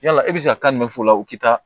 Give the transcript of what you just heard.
Yala e bɛ se ka taa nin de fɔ o la u tɛ taa